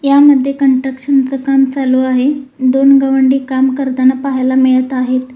यामध्ये कंट्रक्शन च काम चालू आहे दोन गवंडी काम करताना पहायला मिळत आहे.